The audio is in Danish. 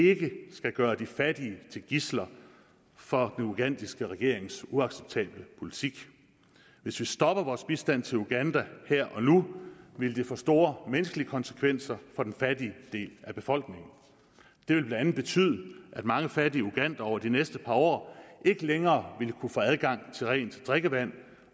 vi ikke skal gøre de fattige til gidsler for den ugandiske regerings uacceptable politik hvis vi stopper vores bistand til uganda her og nu vil det få store menneskelige konsekvenser for den fattige del af befolkningen det vil blandt andet betyde at mange fattige ugandere over de næste par år ikke længere vil kunne få adgang til rent drikkevand